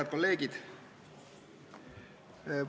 Head kolleegid!